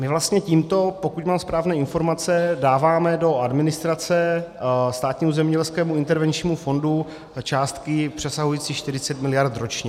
My vlastně tímto, pokud mám správné informace, dáváme do administrace Státnímu zemědělskému intervenčnímu fondu částky přesahující 40 miliard ročně.